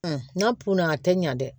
n'a kunna a tɛ ɲa dɛ